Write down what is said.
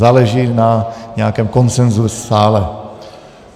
Záleží na nějakém konsenzu v sále.